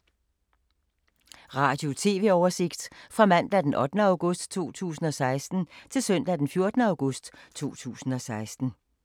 Radio/TV oversigt fra mandag d. 8. august 2016 til søndag d. 14. august 2016